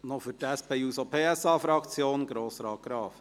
Noch für die SP-JUSO-PSA-Fraktion: Grossrat Graf.